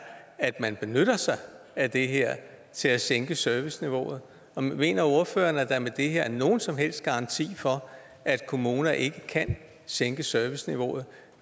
at man benytter sig af det her til at sænke serviceniveauet og mener ordføreren at der med det her er nogen som helst garanti for at kommuner ikke kan sænke serviceniveauet